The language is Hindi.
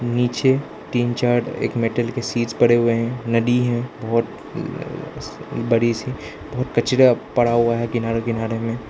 नीचे तीन चार एक मेटल की चीज पड़े हुए हैं नदी है बहुत अह बड़ी सी बहुत कचरा पड़ा हुआ है किनारे किनारे में।